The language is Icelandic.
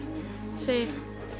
sé